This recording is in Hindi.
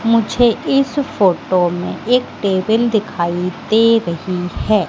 मुझे इस फोटो में एक टेबल दिखाइ दे रही है।